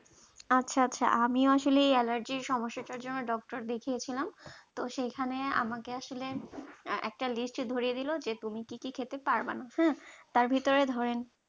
আচ্ছা আচ্ছা আমিও আসলে allergy সমস্যাটার জন্য doctor দেখিয়েছিলাম তো সেখানে আমাকে আসলে একটা list ধরিয়ে দিল যে তুমি কি কি খেতে পারবে না হম তার ভিতরে ধরেন